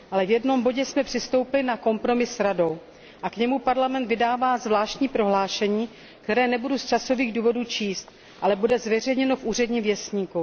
Ale v jednom bodě jsme přistoupili na kompromis s Radou a k němu Parlament vydává zvláštní prohlášení, které nebudu z časových důvodů číst, ale bude zveřejněno v Úředním věstníku.